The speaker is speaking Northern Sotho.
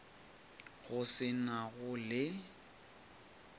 go se na go le